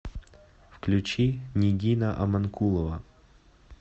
включи нигина амонкулова